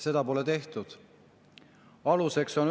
Seda pole.